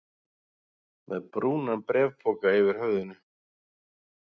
Með brúnan bréfpoka yfir höfðinu?